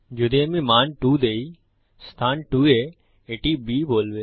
যদি আমি মান দুই দেই অবস্থান 2 এ এটি B বলবে